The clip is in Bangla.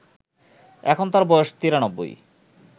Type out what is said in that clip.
এখন তাঁর বয়স ৯৩